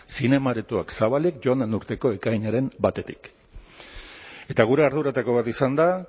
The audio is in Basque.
zinema aretoak zabalik joan den urteko ekainaren batetik eta gure arduretako bat izan da